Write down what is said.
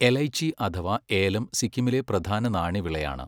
എലൈച്ചി അഥവാ ഏലം സിക്കിമിലെ പ്രധാന നാണ്യവിളയാണ്.